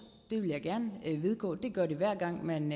det vil jeg gerne vedgå det gør det hver gang man